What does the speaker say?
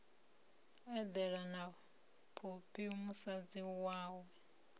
eḓela na phophi musadzi wawe